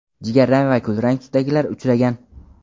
jigarrang va kulrang tusdagilari uchragan.